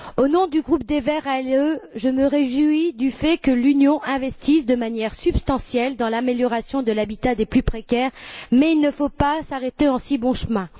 Au nom du groupe des Verts ALE, je me réjouis du fait que l'Union investisse de manière substantielle dans l'amélioration de l'habitat des plus précaires, mais il ne faut pas s'arrêter en si bon chemin.